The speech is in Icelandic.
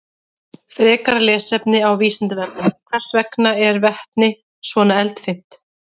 Frekara lesefni á Vísindavefnum: Hvers vegna er vetni svona eldfimt?